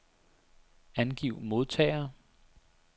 Angiv modtagere.